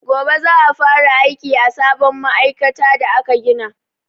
Gobe za'a fara aiki a sabon ma'aikata da aka gina.